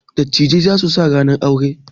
Dattijai za su sa ranar aure.